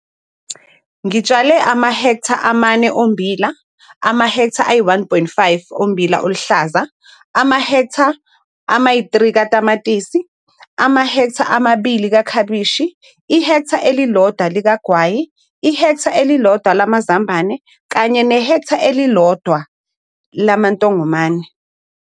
Ngitshale amahektha amane ommbila, amahektha ayi-1,5 ommbila oluhlaza, amahektha ama-3 katamatisi, amahektha amabili ekhabishi, ihektha eli-1 likagwayi, ihektha eli-1 lamazambane kanye nehektha elilodwa lamantongomane